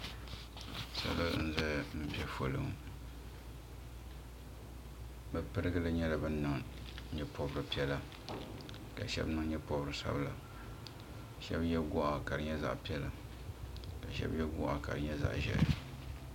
Salo n zaya mpɛ foli ŋɔ bi pirigili nyɛla bini niŋ yee pɔbiri piɛlla ka shɛba niŋ yee pɔbiri sabila shɛba ye gɔɣa ka di nyɛ zaɣi piɛlla ka shɛba ye gɔɣi ka di nyɛ zaɣi ʒɛhi.